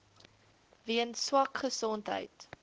weens swak gesondheid